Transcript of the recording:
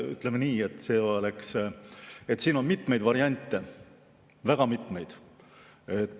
Ütleme nii, et siin on mitmeid variante, väga mitmeid.